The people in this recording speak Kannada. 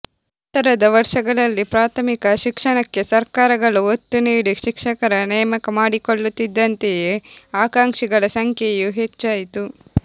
ನಂತರದ ವರ್ಷಗಳಲ್ಲಿ ಪ್ರಾಥಮಿಕ ಶಿಕ್ಷಣಕ್ಕೆ ಸರ್ಕಾರಗಳು ಒತ್ತು ನೀಡಿ ಶಿಕ್ಷಕರ ನೇಮಕ ಮಾಡಿಕೊಳ್ಳುತ್ತಿದ್ದಂತೆಯೇ ಆಕಾಂಕ್ಷಿಗಳ ಸಂಖ್ಯೆಯೂ ಹೆಚ್ಚಾಯಿತು